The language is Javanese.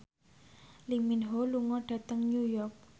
Lee Min Ho lunga dhateng New York